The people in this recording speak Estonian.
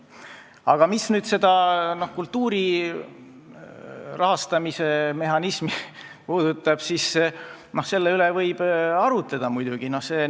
Aga mis puudutab kultuuri rahastamise mehhanismi, siis selle üle võib muidugi arutleda.